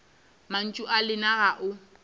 mantšu a lena ga o